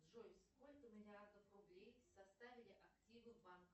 джой сколько миллиардов рублей составили активы банка